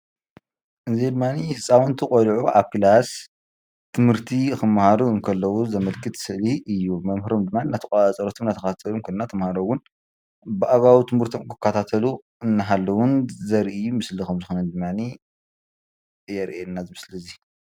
እዚ ድማኒ ህፃውንቲ ቆልዑ አብ ውሽጢ ክላስ ትምህርቲ ክመሃሩ እንከለው ዘመልክት ስእሊ እዩ። መምህሮም ድማ እንዳተቆፃፀሩን እንዳተከታተሉን እንዳተመሃሩ እውን ብአግባቡ ትምህርቶም ክኸታተሉ እናሃልውን ዘርኢ ምስሊ ከምዝኾነ ድማ የርእየና እዚ ምስሊ እዙይ።